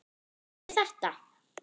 Kann ég þetta?